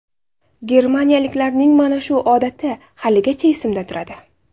Germaniyaliklarning mana shu odati haligacha esimda turadi.